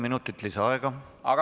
Palun!